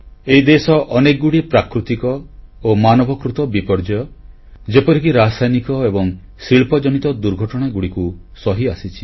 ଏହି ଦେଶ ଅନେକଗୁଡ଼ିଏ ପ୍ରାକୃତିକ ଓ ମାନବକୃତ ବିପର୍ଯ୍ୟୟ ଯେପରିକି ରସାୟନିକ ଏବଂ ଶିଳ୍ପଜନିତ ଦୁର୍ଘଟଣାଗୁଡ଼ିକୁ ସହିଆସିଛି